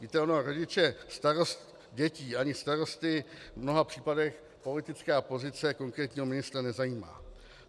Víte, ona rodiče starost dětí ani starosty v mnoha případech politická pozice konkrétního ministra nezajímá.